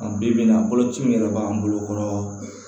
Bi bi in na boloci min yɛrɛ b'an bolo